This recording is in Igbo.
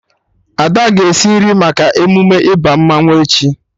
Ada ga-esi nri maka emume ịba mmanwụ echi